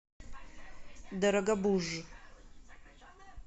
дорогобуж